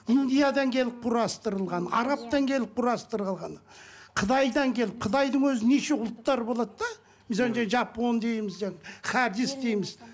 индиядан келіп құрастырылған арабтан келіп құрастырылған қытайдан келіп қытайдың өзі неше ұлттар болады да жапон дейміз хадис дейміз